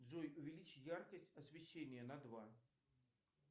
джой увеличить яркость освещения на два